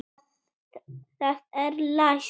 Það er læst!